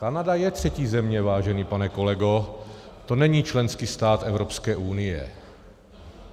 Kanada je třetí země, vážený pane kolego, to není členský stát Evropské unie.